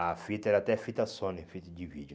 A fita era até fita Sony, fita de vídeo.